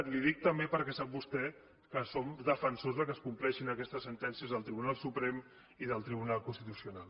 i li ho dic també perquè sap vostè que som defensors que es compleixin aquestes sentències del tribunal suprem i del tribunal constitucional